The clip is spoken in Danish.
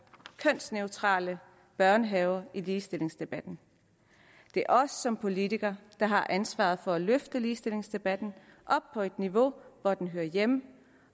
kønsneutrale børnehaver i ligestillingsdebatten det er os som politikere der har ansvaret for at løfte ligestillingsdebatten op på et niveau hvor den hører hjemme